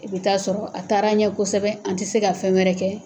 I be taa sɔrɔ a taara ɲɛ kosɛbɛ an ti se ka fɛn wɛrɛ kɛ